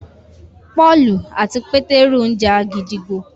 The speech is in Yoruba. Pọ́ọ̀lù àti Pétérù ńja gídígbò